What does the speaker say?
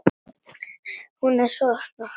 Hún er þá svona!